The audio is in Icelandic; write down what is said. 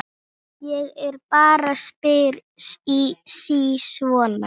Ég bara spyr sí svona.